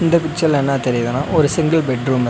இந்த பிச்சர்ல என்னா தெரியிதுன்னா ஒரு சிங்கிள் பெட் ஒன்னுருக்--